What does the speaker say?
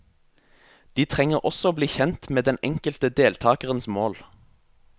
De trenger også å bli kjent med den enkelte deltakerens mål.